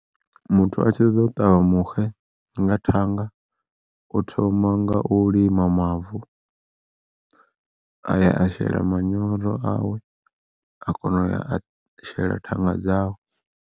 Muthu a tshi ṱoḓa u ṱavha muxe nga thanga u thoma nga u lima mavu, aya a shela manyoro awe a kona uya a shela thanga dzawe.